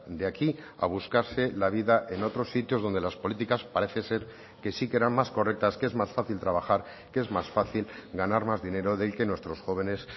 de aquí a buscarse la vida en otros sitios donde las políticas parece ser que sí que eran más correctas que es más fácil trabajar que es más fácil ganar más dinero del que nuestros jóvenes